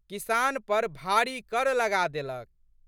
किसान पर भारी कर लगाए देलक।